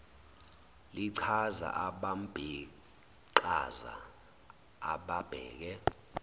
lichaza abambiqhaza ababheke